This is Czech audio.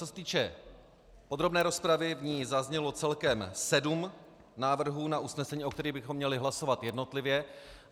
Co se týče podrobné rozpravy, v ní zaznělo celkem 7 návrhů na usnesení, o kterých bychom měli hlasovat jednotlivě.